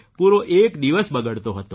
પૂરો એક દિવસ બગડતો હતો